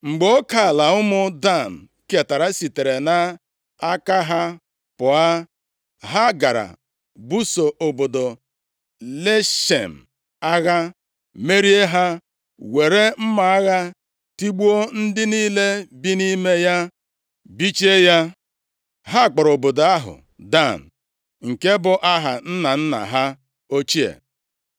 Mgbe oke ala ụmụ Dan ketara sitere nʼaka ha pụọ. Ha gara buso obodo Leshem agha merie ha, were mma agha tigbuo ndị niile bi nʼime ya, bichie ya. Ha kpọrọ obodo ahụ Dan, nke bụ aha nna nna ha ochie.